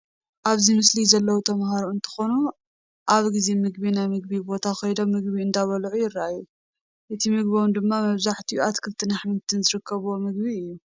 ኣብዚ ምስሊ ዘለው ተምሃሮ እንትኾኑ ኣብ ጊዜ ምግቢ ናብ መመገቢ ቦታ ኸይዶም ምግቢ እንዳበልዑ ይራኣዩ፡፡ እቲ ምግቦም ድማ መብዛሕትሑ ኣትክልትን ኣሕምልትን ዝርከብዎ ምግቢ እዩ፡፡